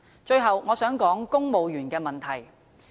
最後，我想指出公務員的問題。